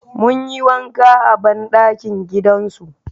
Mun yi wanka a banɗakin gidan su